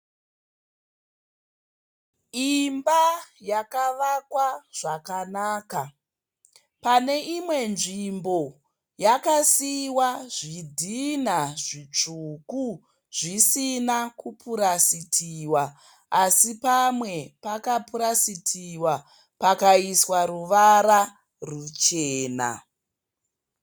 Imba yakavakwa zvakanaka. Paneimwe nzvimbo yakasiiwa zvidhinha zvitsvuku zvisina kupurasitiwa asi pamwe pakapurasitiwa pakaiswa ruvara ruchena.